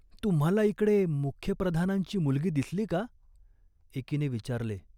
"तुम्हाला इकडे मुख्य प्रधानांची मुलगी दिसली का ?" एकीने विचारले.